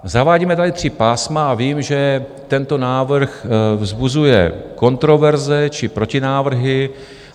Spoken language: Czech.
Zavádíme tady tři pásma a vím, že tento návrh vzbuzuje kontroverze či protinávrhy.